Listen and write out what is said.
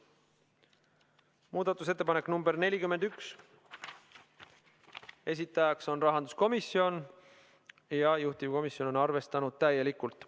Muudatusettepanek nr 41, esitajaks on rahanduskomisjon ja juhtivkomisjon on arvestanud seda täielikult.